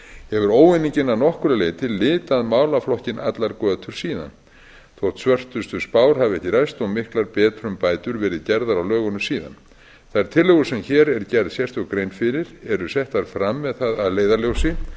hefur óeiningin að nokkru leyti litað málaflokkinn allar götur síðan þótt svörtustu spár hafi ekki ræst og miklar betrumbætur verið gerðar á lögunum síðan þær tillögur sem hér er gerð sérstök grein fyrir eru settar fram með það að leiðarljósi